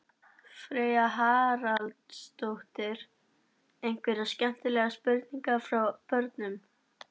Freyja Haraldsdóttir: Einhverjar skemmtilegar spurningar frá börnum?